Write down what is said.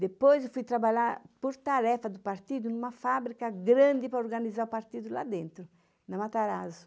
Depois eu fui trabalhar, por tarefa do partido, numa fábrica grande para organizar o partido lá dentro, na Matarazzo.